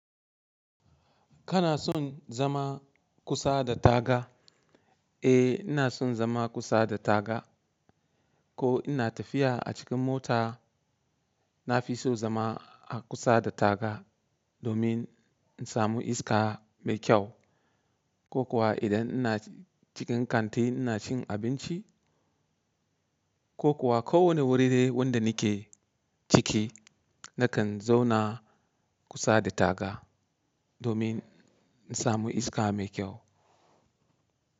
Kana son zama kusa da taga? Eh, ina son zama kusa da taga. Ko ina tafiya a cikin mota, na fi so zama a kusa da taga domin in samu iska mai kyau. Ko kuwa idan ina cikin kanti ina cin abinci, ko kuwa kowane wuri dai wanda nake ciki, nakan zauna kusa da taga domin in samu iska mai kyau.